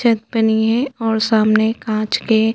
छत बनी है और सामने कांच के --